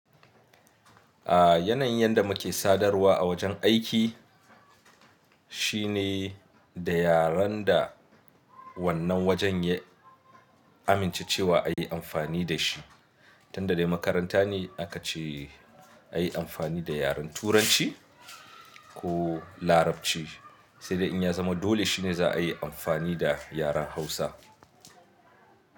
Aaa yanayin yanda muke sadarwa a wajen aiki shine da yaren da wannan wajen ya amince cewa a yi amfani da shi. Tunda dai makaranta ne aka ce a yi amfani da yaren Turanci ko Larabci, sai dai in ya zama dole shine za a yi amfani da yaren Hausa.